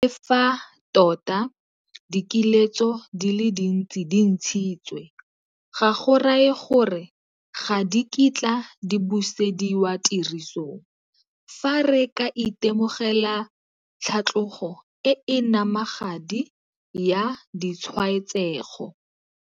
Le fa tota dikiletso di le dintsi di ntshitswe, ga go raye gore ga di kitla di busediwa tirisong fa re ka itemogela tlhatlogo e e namagadi ya ditshwaetsego.